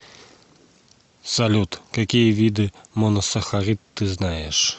салют какие виды моносахарид ты знаешь